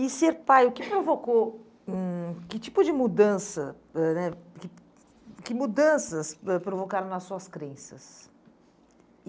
E ser pai, o que provocou, hum, que tipo de mudança ãh né, que que mudanças ãh provocaram nas suas crenças? E